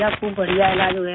खूब बढ़िया इलाज हुआ है